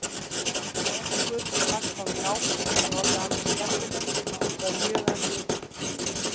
Hjá okkur, dagskráin í ágúst hefði orðið alveg skelfileg og er mjög erfið.